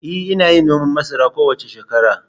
E, ina yin noman masara kowace shekara.